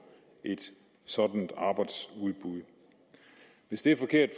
et sådant arbejdsudbud hvis det er forkert